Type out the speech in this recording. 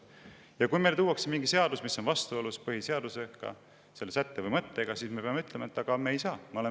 Ja kui meile tuuakse mingi seadus, mis on vastuolus põhiseadusega, selle sätte või mõttega, siis me peame ütlema, et me ei saa.